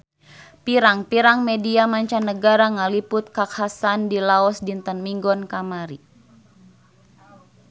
Pirang-pirang media mancanagara ngaliput kakhasan di Laos dinten Minggon kamari